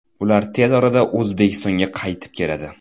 Ular tez orada O‘zbekistonga qaytib keladi.